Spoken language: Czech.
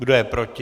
Kdo je proti?